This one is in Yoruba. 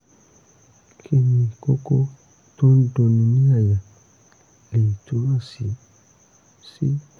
kí ni kókó tó ń dunni ní àyà lè túmọ̀ sí? sí?